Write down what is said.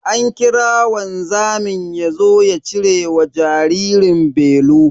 An kira wanzamin yazo ya cire wa jaririn belu.